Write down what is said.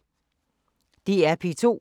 DR P2